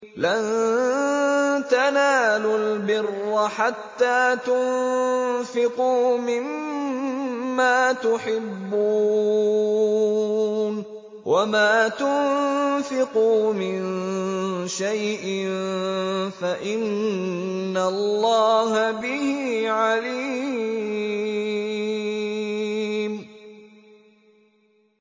لَن تَنَالُوا الْبِرَّ حَتَّىٰ تُنفِقُوا مِمَّا تُحِبُّونَ ۚ وَمَا تُنفِقُوا مِن شَيْءٍ فَإِنَّ اللَّهَ بِهِ عَلِيمٌ